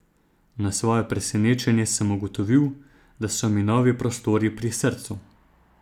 Na svoje presenečenje sem ugotovil, da so mi novi prostori pri srcu.